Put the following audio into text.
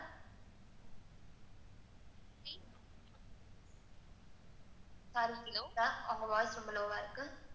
ma'am, உங்க voice ரொம்ப low இருக்கு.